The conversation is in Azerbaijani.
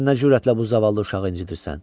Sən nə cürətlə bu zavallı uşağı incitdirsən?